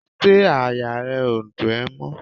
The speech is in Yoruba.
Ṣé àyà rẹ ó dùn ẹ mọ́?